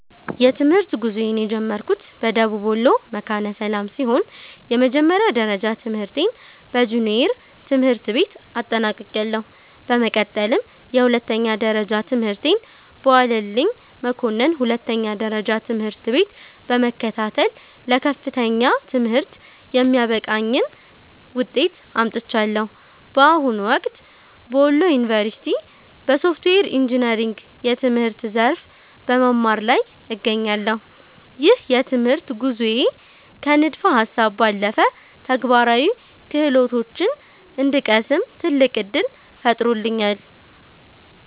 የትምህርት ጉዞዬን የጀመርኩት በደቡብ ወሎ መካነ ሰላም ሲሆን፣ የመጀመሪያ ደረጃ ትምህርቴን በጁኒየር ትምህርት ቤት አጠናቅቄያለሁ። በመቀጠልም የሁለተኛ ደረጃ ትምህርቴን በዋለልኝ መኮንን ሁለተኛ ደረጃ ትምህርት ቤት በመከታተል ለከፍተኛ ትምህርት የሚያበቃኝን ውጤት አምጥቻለሁ። በአሁኑ ወቅት በወሎ ዩኒቨርሲቲ (Wollo University) በሶፍትዌር ኢንጂነሪንግ የትምህርት ዘርፍ በመማር ላይ እገኛለሁ። ይህ የትምህርት ጉዞዬ ከንድፈ ሃሳብ ባለፈ ተግባራዊ ክህሎቶችን እንድቀስም ትልቅ ዕድል ፈጥሮልኛል።